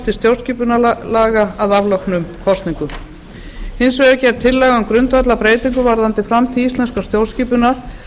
til stjórnarskipunarlaga að afloknum kosningum hins vegar er gerð tillaga um grundvallarbreytingu varðandi framtíð íslenskrar stjórnskipunar